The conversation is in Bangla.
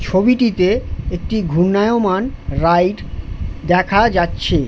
ছবিটিতে একটি ঘুর্ণায়মান রাইড দেখা যাচ্ছে ।